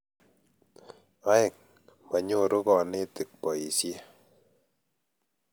oeng', manyoru konetik boisie